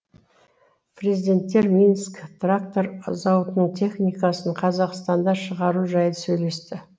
президенттер минск трактор зауытының техникасын қазақстанда шығару жайлы сөйлесті